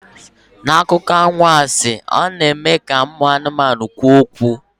N'akụkọ anwansi, a na-eme ka ụmụ anụmanụ kwuo okwu.